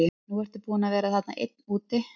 Nú ertu búinn að vera þarna einn úti.